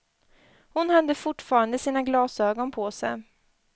Hon hade fortfarande sina glasögon på sig.